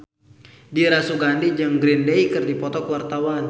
Dira Sugandi jeung Green Day keur dipoto ku wartawan